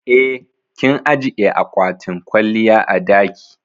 Eh, kin ajiƴe aƙwatin kwalliya a daki.